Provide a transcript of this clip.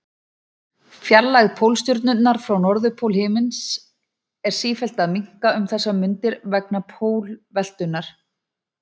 Fjarlægð Pólstjörnunnar frá norðurpól himins er sífellt að minnka um þessar mundir vegna pólveltunnar.